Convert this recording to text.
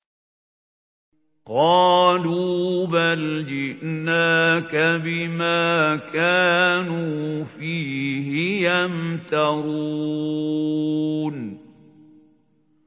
قَالُوا بَلْ جِئْنَاكَ بِمَا كَانُوا فِيهِ يَمْتَرُونَ